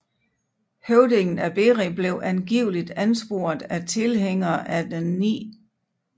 Høvdingen af Beri blev angiveligt ansporet af tilhængere af den 9